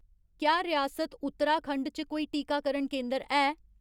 क्या रियासत उत्तराखंड च कोई टीकाकरण केंदर है